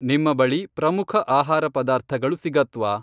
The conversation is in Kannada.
ನಿಮ್ಮ ಬಳಿ ಪ್ರಮುಖ ಆಹಾರ ಪದಾರ್ಥಗಳು ಸಿಗತ್ವಾ?